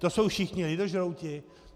To jsou všichni lidožrouti?